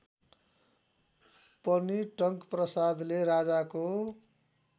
पनि टंकप्रसादले राजाको